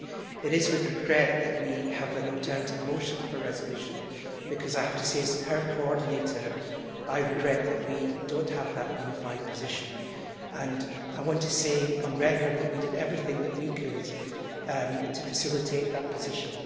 It is with regret that we have an alternative motion for resolution, because I have to say, as coordinator, that I regret that we do not have that unified position. I want to say on record that we did everything that we could to facilitate that position.